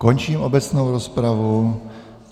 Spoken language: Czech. Končím obecnou rozpravu.